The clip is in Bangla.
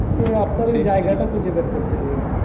তো আপনার ওই খুঁজে বের করতে হবে